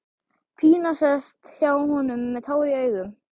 Pína sest hjá honum með tár í augum.